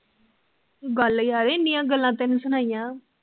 ਗੱਲ ਆ, ਇੰਨੀਆਂ ਗੱਲਾਂ ਤੈਨੂੰ ਸੁਣਾਇਆ